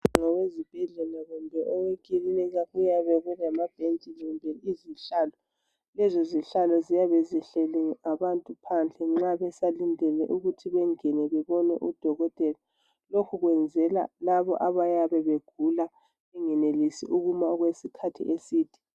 Ngowezibhedlela kumbe owekilinika kuyabe kulamabhentshi kumbe izihlalo. Lezo zihlalo ziyabe zihleli abantu phandle nxa besalindele ukuthi bengene bebone udokotela lokhu kwenzelwa labo abayabe begula bengenelisi ukuma okwesikhathi eside.